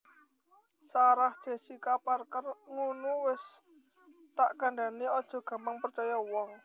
Sarah Jessica Parker ngunu wes tak kandhani ojok gampang percoyo uwong